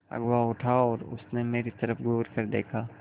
अगुआ उठा और उसने मेरी तरफ़ घूरकर देखा